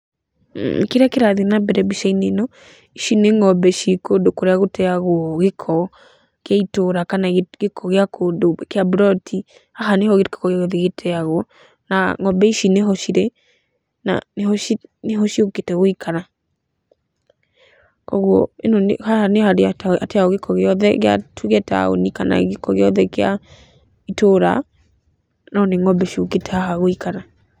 Kĩrĩa kĩrathiĩ nambere mbica-inĩ ĩno, ici nĩ ng'ombe ciĩ kũndũ kũrĩa gũteagwo gĩko kĩa itũra kana gĩko kandũ kĩa mburati haha nĩho gĩko gĩothe gĩteagwo, na ng'ombe ici nĩho cirĩ, na nĩho nĩho ciũkĩte gũikara. Koguo ĩno nĩ haha nĩharĩa hateagwo gĩko gĩothe gĩa tuge taũni kana gĩko gĩothe kĩa itũra, no nĩ ng'ombe ciũkĩte haha gũikara.